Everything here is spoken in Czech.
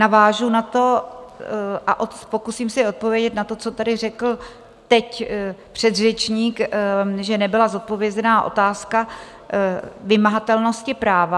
Navážu na to a pokusím se odpovědět na to, co tady řekl teď předřečník, že nebyla zodpovězena otázka vymahatelnosti práva.